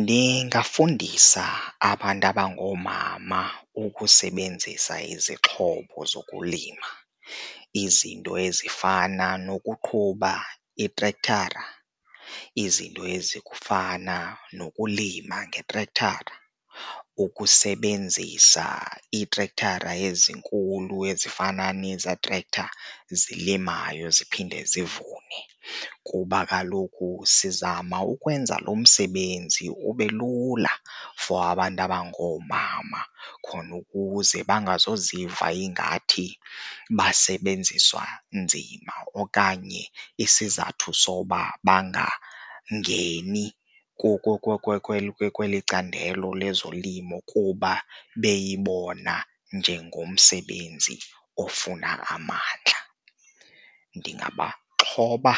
Ndingafundisa abantu abangoomama ukusebenzisa izixhobo zokulima. Izinto ezifana nokuqhuba itrekthara, izinto ezifana nokulima ngetrekthara, ukusebenzisa iitrekthara ezinkulu ezifana nezaa trektha zilimayo ziphinde zivune. Kuba kaloku sizama ukwenza lo msebenzi ube lula for abantu abangoomama khona ukuze bangazoziva ingathi basebenziswa nzima okanye isizathu soba bangangeni kweli candelo lezolimo kuba beyibona njengomsebenzi ofuna amandla. Ndingabaxhotha